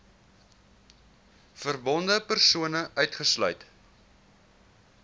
verbonde persone uitgesluit